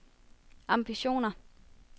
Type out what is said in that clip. ambitioner